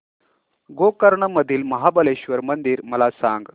गोकर्ण मधील महाबलेश्वर मंदिर मला सांग